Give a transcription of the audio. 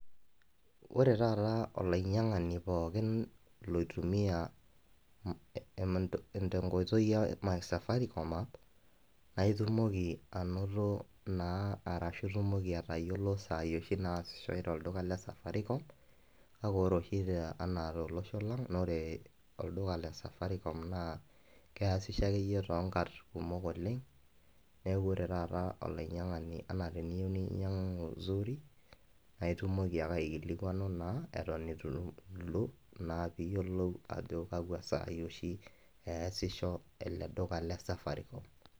Wore taata olainyiangani pookin loitumiyiai tenkoitoi e my safaricom app, naa itumoki ainoto naa arashu itumoki aatayiolo isaai oshi naasishoi tolduka le safaricom. Kake wore oshi te enaa tolosho lang wore olduka le safaricom naa keasisho akeyie toonkat kumok oleng', neeku wore taata olainyiangani enaa teneyiou ninyiangua zuri, naa itumoki ake aikilikuanu naa eton itu itum, pee iyiolou naa ajo kakwa sai oshi eeasisho ele duka le safaricom.